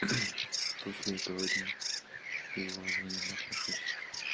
после этого дня и уважением отношусь